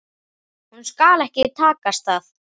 Honum skal ekki takast það!